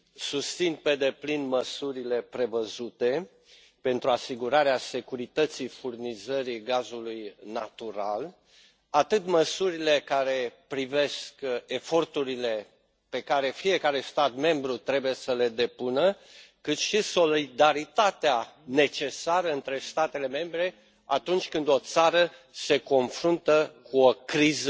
Susțin pe deplin măsurile prevăzute pentru asigurarea securității furnizării gazului natural atât măsurile care privesc eforturile pe care fiecare stat membru trebuie să le depună, cât și solidaritatea necesară între statele membre atunci când o țară se confruntă cu o criză